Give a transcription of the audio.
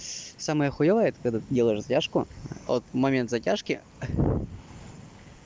самая хуевое это когда ты делаешь затяжку от момент затяжки